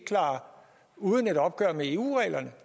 uden et opgør med eu reglerne